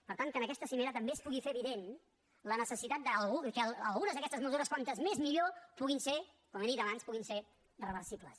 per tant que en aquesta cimera també es pugui fer evident la necessitat que algunes d’aquestes mesures com més millor puguin ser com he dit abans reversibles